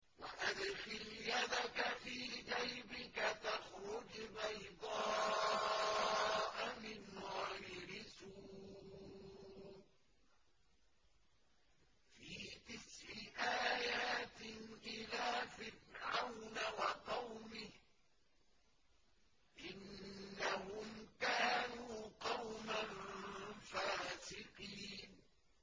وَأَدْخِلْ يَدَكَ فِي جَيْبِكَ تَخْرُجْ بَيْضَاءَ مِنْ غَيْرِ سُوءٍ ۖ فِي تِسْعِ آيَاتٍ إِلَىٰ فِرْعَوْنَ وَقَوْمِهِ ۚ إِنَّهُمْ كَانُوا قَوْمًا فَاسِقِينَ